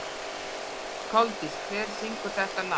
Koldís, hver syngur þetta lag?